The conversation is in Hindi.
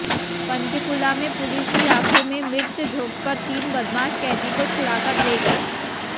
पंचकूला में पुलिस की आंखों में मिर्च झोंककर तीन बदमाश कैदी को छुड़ाकर ले गए